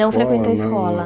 Não frequentou a escola?